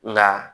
Nka